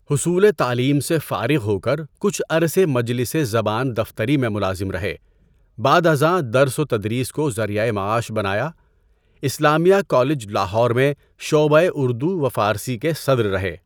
حصول تعلیم سے فارغ ہو کر کچھ عرصے مجلس زبان دفتری میں ملازم رہے، بعد ازاں درس و تدریس کو ذریعۂ معاش بنایا۔ اسلامیہ کالج لاہور میں شعبۂ اردو و فارسی کے صدر رہے۔